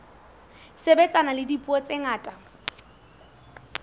sebetsana le dipuo tse ngata